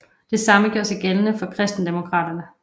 Det samme gjorde sig gældende for Kristendemokraterne